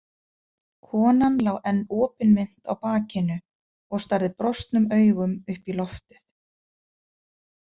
Konan lá enn opinmynnt á bakinu og starði brostnum augum upp í loftið.